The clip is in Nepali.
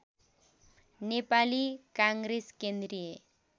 नेपाली काङ्ग्रेस केन्द्रीय